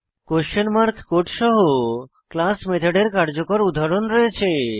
question mark code সহ class মেথডের কার্যকর উদাহরণ রয়েছে